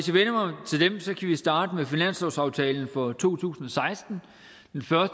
starte med finanslovsaftalen for to tusind og seksten